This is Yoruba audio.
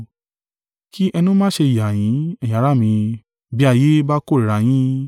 Kì ẹnu má ṣe yà yín, ẹ̀yin ará mi, bí ayé bá kórìíra yín.